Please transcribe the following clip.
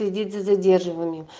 виды задерживания